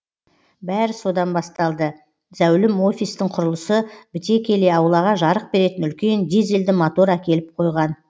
бәрі содан басталды зәулім офистің құрылысы біте келе аулаға жарық беретін үлкен дизельді мотор әкеліп қойған